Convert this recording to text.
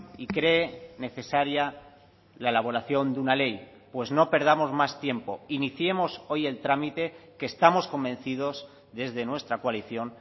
y cree necesaria la elaboración de una ley pues no perdamos más tiempo iniciemos hoy el trámite que estamos convencidos desde nuestra coalición